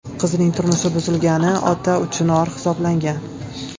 Qizining turmushi buzilgani ota uchun or hisoblangan.